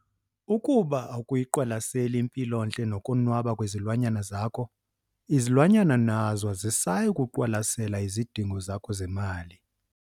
Ukuba akuyiqwalaseli impilontle nokonwaba kwezilwanyana zakho, izilwanyana nazo azisayi kuziqwalasela izidingo zakho zemali!